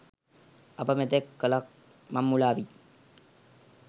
අප මෙතෙක් කළක් මං මුලාවී